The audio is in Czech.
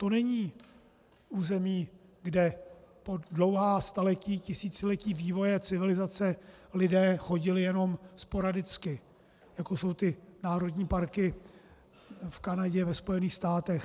To není území, kde po dlouhá staletí, tisíciletí vývoje civilizace lidé chodili jenom sporadicky, jako jsou ty národní parky v Kanadě, ve Spojených státech.